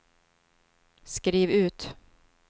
skriv ut